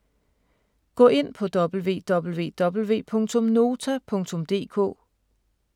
Gå ind på www.nota.dk